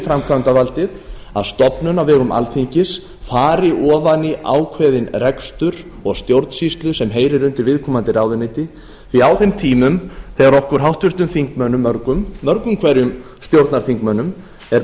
framkvæmdarvaldið að stofnun á vegum alþingis fari ofan í ákveðinn rekstur og stjórnsýslu sem heyrir undir viðkomandi ráðuneyti því að á þeim tímum þegar okkur háttvirtum þingmönnum mörgum mörgum hverjum stjórnarþingmönnum er